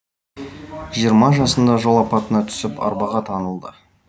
жиырма жасында жол апатына түсіп арбаға таңылды